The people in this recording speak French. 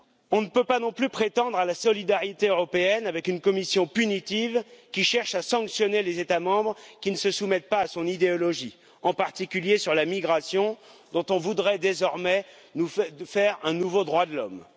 On ne peut pas non plus prétendre à la solidarité européenne avec une Commission punitive qui cherche à sanctionner les États membres qui ne se soumettent pas à son idéologie, en particulier sur la migration, dont on voudrait désormais faire un nouveau droit de l'homme.